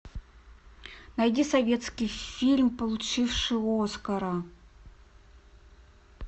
найди советский фильм получивший оскара